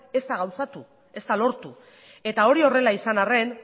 ez da gauzatu ez da lortu eta hori horrela izan arren